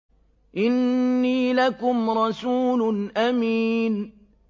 إِنِّي لَكُمْ رَسُولٌ أَمِينٌ